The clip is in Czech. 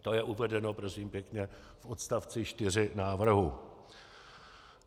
To je uvedeno, prosím pěkně, v odstavci 4 návrhu.